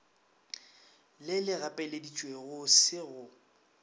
le le gapeleditšego se go